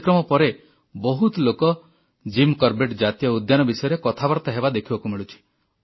ଏଇ କାର୍ଯ୍ୟକ୍ରମ ପରେ ବହୁତ ଲୋକ ଜିମ୍ କରବେଟ୍ ଜାତୀୟ ଉଦ୍ୟାନ ବିଷୟରେ କଥାବାର୍ତ୍ତା ହେବା ଦେଖିବାକୁ ମିଳୁଛି